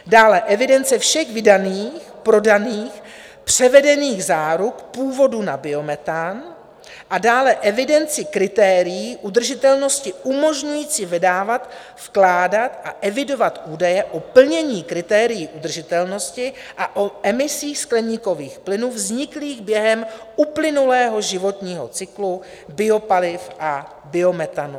Dále evidence všech vydaných, prodaných, převedených záruk původu na biometan a dále evidenci kritérií udržitelnosti umožňující vydávat, vkládat a evidovat údaje o plnění kritérií udržitelnosti a o emisích skleníkových plynů vzniklých během uplynulého životního cyklu biopaliv a biometanu.